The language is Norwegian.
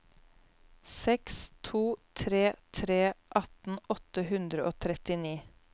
seks to tre tre atten åtte hundre og trettini